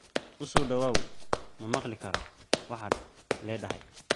U soo dhawaaw ma maqli karo waxaad leedahay